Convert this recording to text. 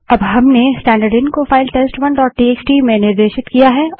अब हम स्टैन्डर्डइन को फाइल टेस्ट1 डोट टीएक्सटी में निर्देशित करते हैं